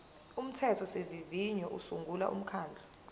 umthethosivivinyo usungula umkhandlu